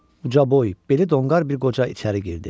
Ucaboy, beli donqar bir qoca içəri girdi.